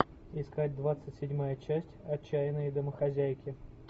искать двадцать седьмая часть отчаянные домохозяйки